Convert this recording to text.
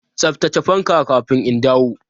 Tsaftace fanka kafin in dawo!